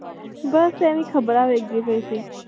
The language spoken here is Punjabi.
ਬਸ ਹੀ ਖਬਰਾਂ ਦੇਖਦੀ ਪਾਈ ਸੀ।